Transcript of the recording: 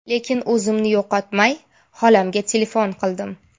Lekin o‘zimni yo‘qotmay, xolamga telefon qildim.